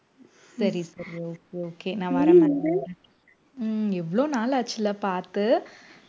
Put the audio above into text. சரி சரி okay okay நான் வரேன் உம் எவ்வளவு நாள் ஆச்சுல பார்த்து